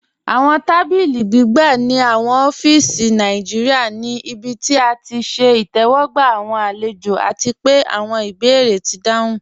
Awọn tàbílí gbìgbà ní awọn ófíísì Nàìjíríà ní ìbí tí à ti ṣẹ̀ ìtẹwọgba awọn alẹ̀jọ, àti pẹ̀ awọn ìbèérè ti dáhùn.